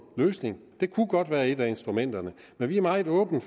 løsning det kunne godt være et af instrumenterne men vi er meget åbne